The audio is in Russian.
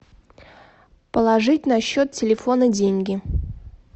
положить на счет телефона деньги